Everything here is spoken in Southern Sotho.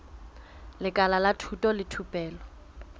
lekala la thuto le thupelo